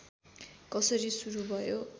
कसरी सुरू भयो